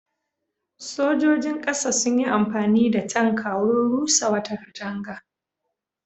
Sojojin ƙasa sun yi amfani da tanka wurin rusa wata katanga.